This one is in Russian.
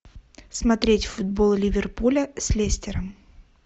смотреть футбол ливерпуля с лестером